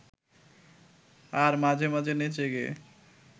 আর মাঝে মাঝে নেচে-গেয়ে